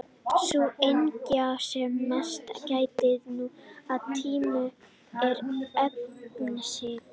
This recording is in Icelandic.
Sú einhyggja sem mest gætir nú á tímum er efnishyggja.